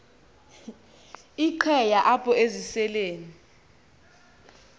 iqheya apho eziseleni